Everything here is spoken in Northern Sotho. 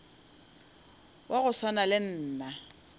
wa go swana le nna